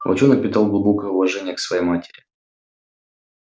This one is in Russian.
волчонок питал глубокое уважение к своей матери